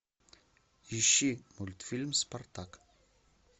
ищи мультфильм спартак